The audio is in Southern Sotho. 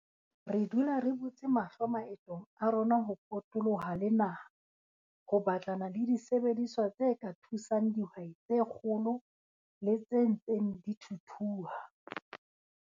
Re dula re butse mahlo maetong a rona ho potoloha le naha ho batlana le disebediswa tse ka thusang dihwai tse kgolo le tse ntseng di thuthuha.